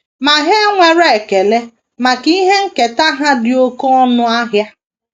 Ma ha enwere ekele maka ihe nketa ha dị oké ọnụ ahịa.